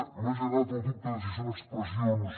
m’ha generat el dubte de si són expressions